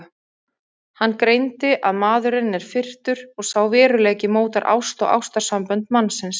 Hann greindi að maðurinn er firrtur og sá veruleiki mótar ást og ástarsambönd mannsins.